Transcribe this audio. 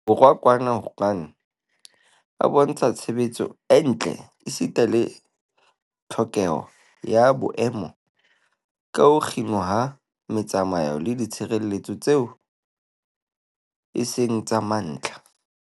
Borwa kwana Wuhan a bontsha tshebetso e ntle esita le tlhokeho ya boemo ba ho kginwa ha metsamao le ditshebeletso tseo e seng tsa mantlha.